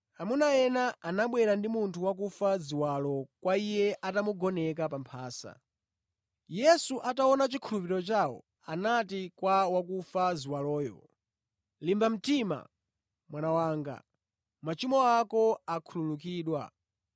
Amuna ena anabwera ndi munthu wakufa ziwalo kwa Iye atamugoneka pa mphasa. Yesu ataona chikhulupiriro chawo anati kwa wakufa ziwaloyo, “Limba mtima mwana wanga, machimo ako akhululukidwa.”